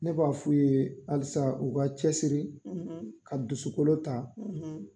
Ne b'a f'u ye halisa u ka cɛsiri, , ka dusukolo ta,